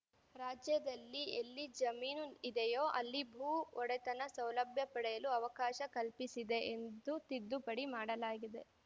ರಾಜ್ಯದಲ್ಲಿ ಎಲ್ಲಿ ಜಮೀನು ಇದೆಯೋ ಅಲ್ಲಿ ಭೂ ಒಡೆತನ ಸೌಲಭ್ಯ ಪಡೆಯಲು ಅವಕಾಶ ಕಲ್ಪಿಸಿದೆ ಎಂದು ತಿದ್ದುಪಡಿ ಮಾಡಲಾಗಿದೆ